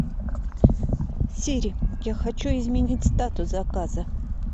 сири я хочу изменить статус заказа